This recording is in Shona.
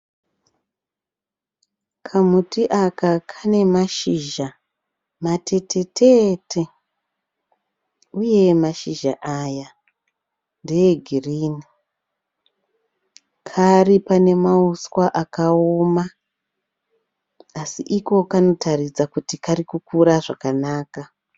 Kamuti aka kane mashizha matetetete uye mashizha aya ndeegirini. Kari pane mauswa akaoma asi iko kanotaridza kuti karikukura zvakanaka.